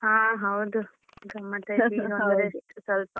ಹಾ ಹೌದು ಗಮ್ಮತ್ ಆಯ್ತು ಸ್ವಲ್ಪ.